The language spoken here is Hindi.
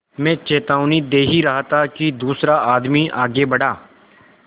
मैं चेतावनी दे ही रहा था कि दूसरा आदमी आगे बढ़ा